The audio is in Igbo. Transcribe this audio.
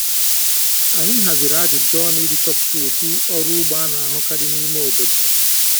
Anyị haziri ajụjụ ọnụ iji chọpụta ụdị ọrụ ugbo a na-ahụkarị n’ime obodo.